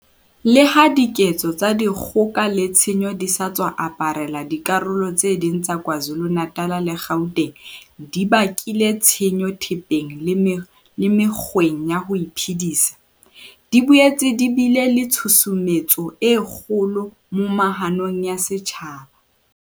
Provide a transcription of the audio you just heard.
Leha diketso tsa di kgoka le tshenyo tse sa tswa aparela dikarolo tse ding tsa Kwa Zulu-Natal le Gauteng di bakile tshenyo thepeng le mekgweng ya ho iphedisa, di boetse di bile le tshu sumetso e kgolo moma hanong ya setjhaba.